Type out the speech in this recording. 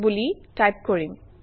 বুলি টাইপ কৰিম